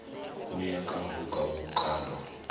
ho ya ka ho kalwa